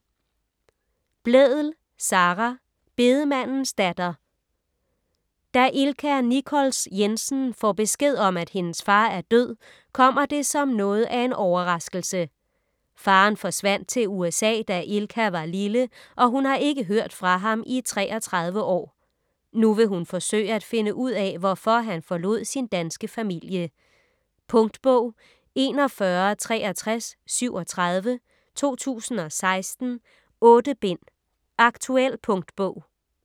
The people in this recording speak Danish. Blædel, Sara: Bedemandens datter Da Ilka Nichols Jensen får besked om, at hendes far er død, kommer det som noget af en overraskelse. Faderen forsvandt til USA, da Ilka var lille og hun har ikke hørt fra ham i 33 år. Nu vil hun forsøge at finde ud af, hvorfor han forlod sin danske familie. Punktbog 416337 2016. 8 bind. Aktuel punktbog